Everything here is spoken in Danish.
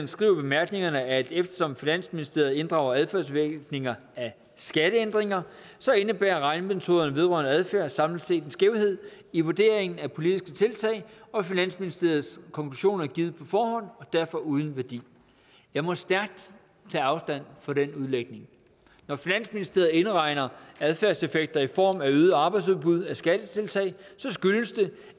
skriver i bemærkningerne at eftersom finansministeriet inddrager adfærdsvirkninger af skatteændringer indebærer regnemetoden vedrørende adfærd samlet set en skævhed i vurderingen af politiske tiltag og finansministeriets konklusion er givet på forhånd og derfor uden værdi jeg må stærkt tage afstand fra den udlægning når finansministeriet indregner adfærdseffekter i form af øget arbejdsudbud af skattetiltag skyldes det